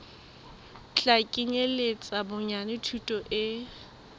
tla kenyeletsa bonyane thuto e